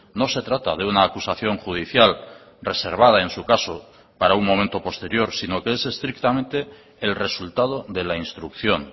no se trata de una acusación judicial reservada en su caso para un momento posterior sino que es estrictamente el resultado de la instrucción